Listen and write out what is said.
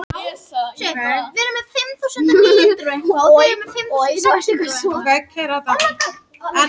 Á þeim tíma hefur hún sveiflast verulega.